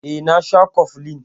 Eh, na sha koflin.